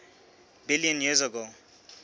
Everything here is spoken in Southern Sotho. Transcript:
billion years ago